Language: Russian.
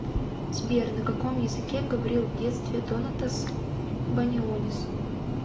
сбер на каком языке говорил в детстве донатас банионис